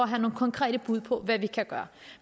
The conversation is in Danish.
have nogle konkrete bud på hvad vi kan gøre